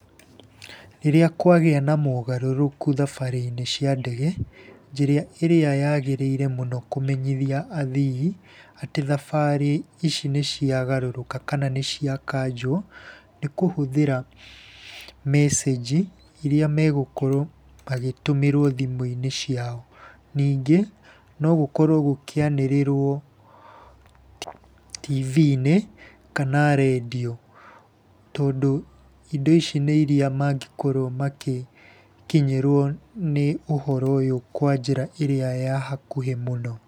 Rĩrĩa kwagĩa na mogarũrũku thabarĩ-inĩ cia ndege, njĩra ĩrĩa yagĩrĩire mũno kũmenyithia athii atĩ thabarĩ ici nĩ ciagarũrũka kana nĩ ciakanjwo, nĩ kũhũthĩra mecĩnji iria megũkorwo magĩtũmĩrwo thimũ-inĩ ciao. Ningĩ no gũkorwo gũkĩanĩrĩrwo tibii-inĩ kana rendiũ. Tondũ indo ici nĩ iria mangĩkorwo magĩkinyĩrũo nĩ ũhoro ũyũ kwa njĩra ĩrĩa ya hakuhĩ mũno.